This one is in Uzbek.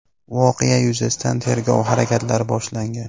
Voqea yuzasidan tergov harakatlari boshlangan.